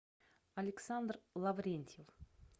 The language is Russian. александр лаврентьев